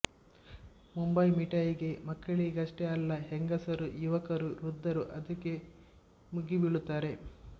ಮುಂಬಯಿ ಮಿಠಾಯಿಗೆ ಮಕ್ಕಳಿಗಷ್ಟೇ ಅಲ್ಲ ಹೆಂಗಸರು ಯುವಕರು ವೃದ್ಧರೂ ಅದಕ್ಕೆ ಮುಗಿ ಬಿಳುತ್ತಾರೆ